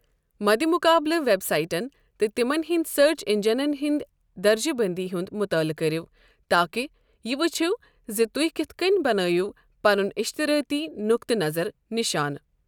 مَدِ مُقابَلہٕ ویب سائٹَن تہٕ تِمن ہٕنٛدۍ سٔرٕچ اینجنَن ہنٛدِ درجہِ بندی ہُنٛد مُطٲلعہٕ کٔرِو تاکہِ یہِ ؤچھو زِ تُہۍ کِتھ کٔنۍ بنٲیِو پنُن اشتٕرٲتی نقطہٕ نظر نشانہٕ۔